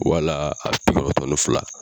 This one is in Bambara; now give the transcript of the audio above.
Wala a bi kɔnɔntɔn ni fila.